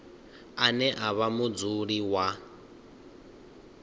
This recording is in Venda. ane a vha mudzuli wa